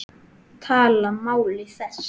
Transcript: Tala máli þess?